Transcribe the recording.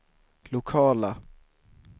lokala